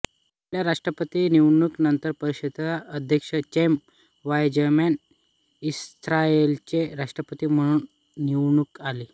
पहिल्या राष्ट्रपती निवडणूकी नंतर परिषदेचे अध्यक्ष चैम वाइझमन इस्रायलचे राष्ट्रपती म्हणुन निवडून आले